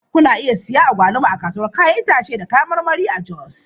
Kuna iya siyan agwaluma a kasuwar 'ya'yan itace da kayan marmari a Jos.